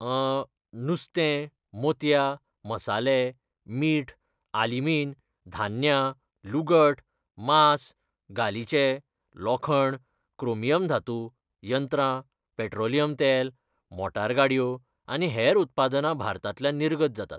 अं.., नुस्तें, मोतयां, मसाले, मीठ, आलिमीन, धान्यां, लुगट, मांस, गालिचे, लोखंड, क्रोमियम धातू, यंत्रां, पेट्रोलियम तेल, मोटार गाडयो आनी हेर उत्पादनां भारतांतल्यान निर्गत जातात.